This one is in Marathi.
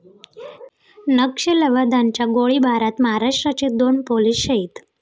नक्षलवाद्यांच्या गोळीबारात महाराष्ट्राचे दोन पोलीस शहीद